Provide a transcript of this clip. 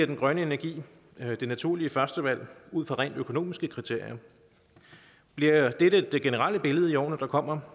den grønne energi det naturlige førstevalg ud fra rent økonomiske kriterier bliver dette det generelle billede i årene der kommer